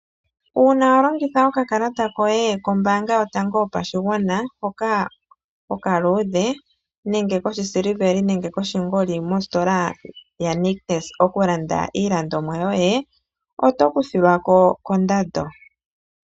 Uuna wa longitha okakalata koye kombaanga yotango yopashigwana hoka okaluudhe nenge koshisiliveli nenge koshingoli mositola yaNictus oku landa iilandomwa yoye oto kuthilwa ko kondando.